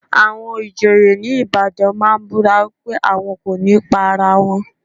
Àwọn ìjòyè ní Ìbàdàn máa ń búra wípé àwọn kò ní pa ara wọn.